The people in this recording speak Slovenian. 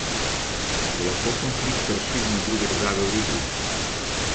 Se lahko konflikt razširi na druge države v regiji?